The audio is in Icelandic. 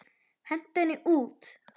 Hentu henni út!